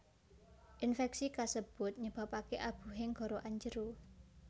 Infeksi kasebut nyebabake abuhing gorokan njero